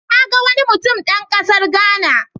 Na ga wani mutum dan kasar Ghana.